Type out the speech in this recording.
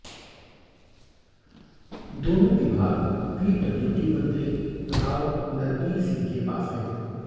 दोनों विभाग पीडब्ल्यूडी मंत्री राव नरबीर सिंह के पास हैं